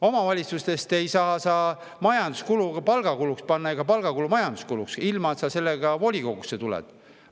Omavalitsuses ei saa sa majanduskulu palgakuluks panna ega palgakulu majanduskuluks ilma, et sa sellega volikogusse tuleksid.